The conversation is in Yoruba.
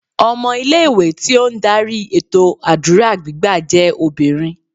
Ọmọ ilé ìwé tí ó ń darí ètò àdúrà gbígbà jẹ́ obìnrin.